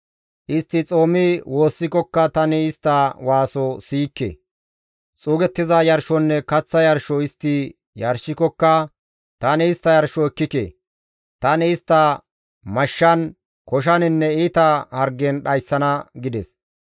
Istti xoomi woossikokka tani istta waaso siyikke; xuugettiza yarshonne kaththa yarshoza istti yarshikokka tani istta yarshoza ekkike. Tani istta mashshan, koshaninne iita hargen dhayssana» gides.